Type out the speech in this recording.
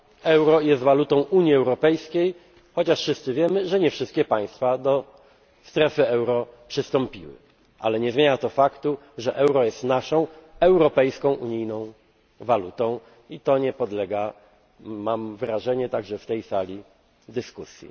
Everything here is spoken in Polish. to mówię językiem Traktatu. Euro jest walutą Unii Europejskiej, chociaż wszyscy wiemy, że nie wszystkie państwa do strefy euro przystąpiły, ale nie zmienia to faktu, że euro jest naszą europejską, unijną walutą. I to nie podlega, mam wrażenie także w tej sali, dyskusji.